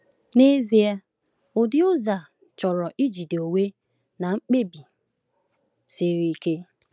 N’ezie, ụdị ụzọ a chọrọ ijide onwe na mkpebi siri ike.